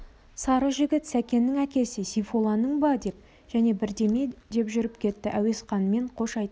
сары жігіт сәкеннің әкесі сейфолланың ба деп және бірдеме деп жүріп кетті әуесқанмен қош айтыстық